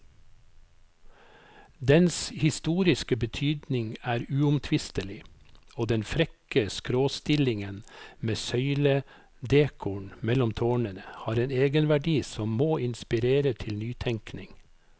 Dens historiske betydning er uomtvistelig, og den frekke skråstillingen med søyledekoren mellom tårnene har en egenverdi som må inspirere til nytenkning.